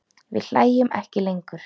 Við hlæjum ekki lengur.